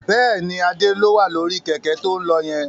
Bẹ́ẹ̀ni, Adé ló wà lórí Kẹ̀kẹ́ to ń lọ yẹn